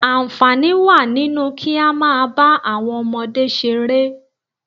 Àǹfààní wà nínú kí á máa bá àwọn ọmọdé ṣeré